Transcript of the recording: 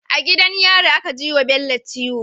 A gidan yari aka jiwa bello ciwo